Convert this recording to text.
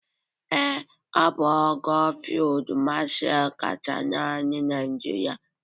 Ee, ọ bụ ogo Fịld Mashal kachasị n'amị Naịjịrịa.